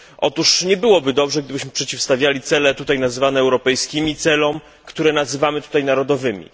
Otóż nie byłoby dobrze, gdybyśmy przeciwstawiali cele tutaj nazywane europejskimi celom, które nazywamy tutaj narodowymi.